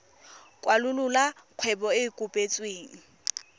kwalolola kgwebo e e kopetsweng